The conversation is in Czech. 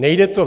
Nejde to.